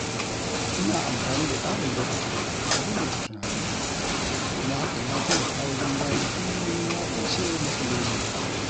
Ina amfani da ƙarin lokaci don rubuta tunanina, kuma hakan ya taimaka wajen gano hanyoyin magance matsaloli.